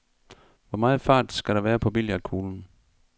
Hvor meget fart skal der være på billiardkuglen?